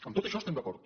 en tot això estem d’acord